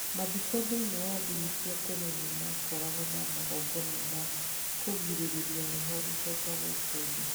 Mathiko thĩinĩ wa ndini cia tene nĩ makoragwo na magongona ma kũgirĩrĩria roho gũcoka gũkũ thĩ.